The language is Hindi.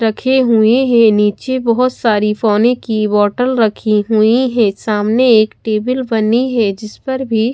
रखे हुए हैं नीचे बहोत सारी पानी की बोटल रखी हुई है सामने एक टेबिल बनी है जिस पर भी--